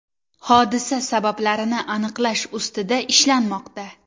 Hodisa sabablarini aniqlash ustida ishlanmoqda.